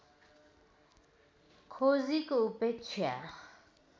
खोजीको उपेक्षा